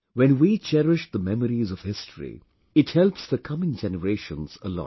When we cherish the memories of history, it helps the coming generations a lot